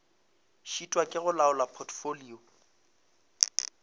šitwa ke go laola potfolio